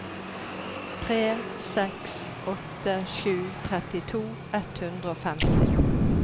tre seks åtte sju trettito ett hundre og femti